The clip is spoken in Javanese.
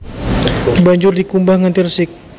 Banjur dikumbah nganti resik